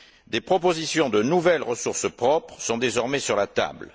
Des propositions de nouvelles ressources propres sont désormais sur la table.